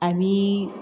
A bi